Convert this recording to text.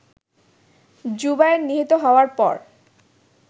জুবায়ের নিহত হওয়ার পর